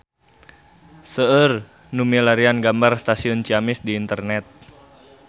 Seueur nu milarian gambar Stasiun Ciamis di internet